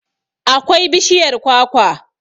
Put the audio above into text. akwai bishiyar kwakwa